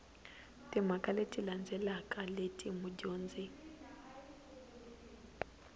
timhaka leti landzelaka leti mudyondzi